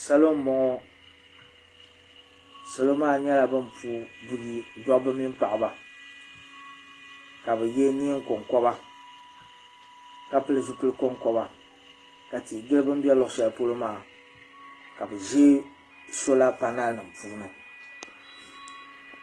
salo n bɔŋɔ salɔ maa nyɛla bin pu buyi dabba mini paɣaba ka bi yɛ neen konkoba ka pili zipili konkoba ka tia gili bini bɛ luɣu shɛli pɔlɔ maa ka bi ʒi soola panaal puuni